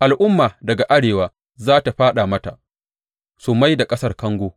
Al’umma daga arewa za tă fāɗa mata su mai da ƙasar kango.